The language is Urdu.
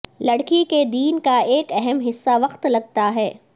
لڑکی کے دین کا ایک اہم حصہ وقت لگتا ہے